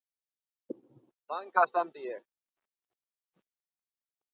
Þangað stefndi ég.